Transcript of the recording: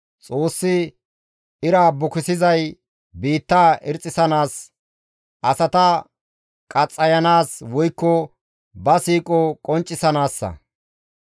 Xoossi ira bukisizay biittaa irxxisanaas, asata qaxxayanaas woykko ba siiqo qonccisanaassa.